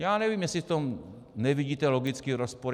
Já nevím, jestli v tom nevidíte logický rozpor.